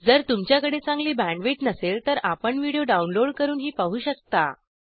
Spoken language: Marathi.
जर तुमच्याकडे चांगली बॅण्डविड्थ बँडविथ नसेल तर आपण व्हिडिओ downloadडाऊनलोड करूनही पाहू शकता